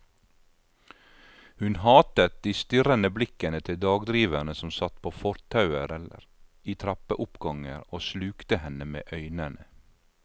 Hun hatet de strirrende blikkende til dagdriverne som satt på fortauer eller i trappeoppganger og slukte henne med øynene.